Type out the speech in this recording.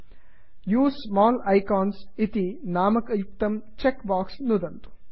उसे small icons use small icons इति नामयुक्तं चेक् बाक्स् नुदन्तु